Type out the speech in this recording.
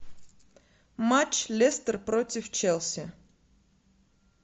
матч лестер против челси